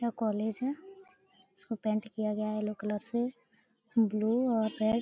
यह कॉलेज है इसको पेंट किया गया है येलो कलर से ब्लू और रेड ।